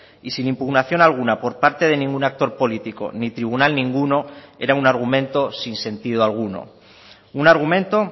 y sin impugnación alguna por parte de ningún actor político ni tribunal ninguno era un argumento sin sentido alguno un argumento